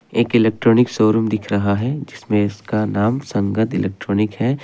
एक electronic showroom दिख रहा है जिसमें इसका नाम संगत इलेक्ट्रॉनिक है।